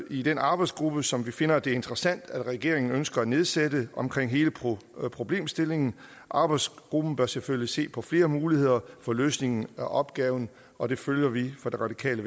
i den arbejdsgruppe som vi finder det interessant regeringen ønsker at nedsætte omkring hele problemstillingen arbejdsgruppen bør selvfølgelig se på flere muligheder for løsningen af opgaven og det følger vi fra radikale